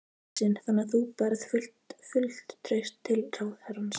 Þóra Kristín: Þannig að þú berð fullt traust til ráðherrans?